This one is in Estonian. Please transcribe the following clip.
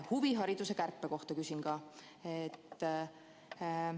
Huvihariduse kärpe kohta küsin samuti.